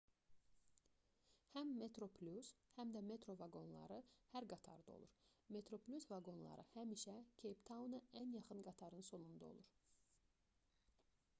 həm metroplus həm də metro vaqonları hər qatarda olur metroplus vaqonları həmişə keyp-tauna ən yaxın qatarın sonunda olur